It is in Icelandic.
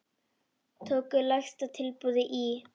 Tóku lægsta tilboði í.